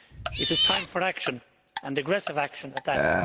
It is time for action, and aggressive action at that.